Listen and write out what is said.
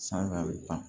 San fɛ a bɛ ban